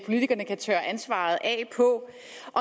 politikerne kan tørre ansvaret af på